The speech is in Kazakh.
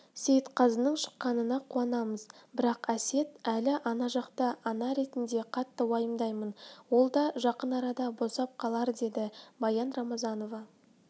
сейітқазының шыққанына қуанамыз бірақ әсет әлі ана жақта ана ретінде қатты уайымдаймын ол да жақын арада босап қалар деді баян рамазанова